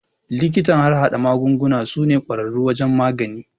Likitan harhaɗa magunguna su ne kwararru wurin magani